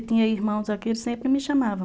E tinha irmãos aqui, eles sempre me chamavam.